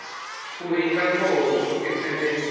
uri nga ngoho zwo ḓisendeka